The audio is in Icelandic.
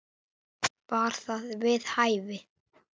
Var það við hæfi?